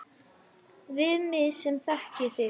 Við mig sem þekki þig.